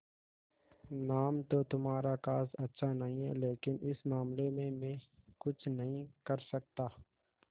नाम तो तुम्हारा खास अच्छा नहीं है लेकिन इस मामले में मैं कुछ नहीं कर सकता